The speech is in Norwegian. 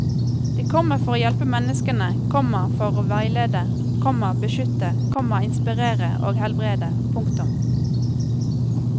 De kommer for å hjelpe menneskene, komma for å veilede, komma beskytte, komma inspirere og helbrede. punktum